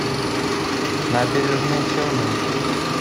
набережные челны